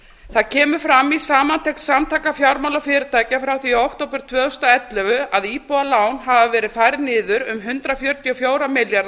það kemur fram í samantekt samtaka fjármálafyrirtækja frá því í október tvö þúsund og ellefu að íbúðalán hafi verið færð niður um hundrað fjörutíu og fjóra milljarða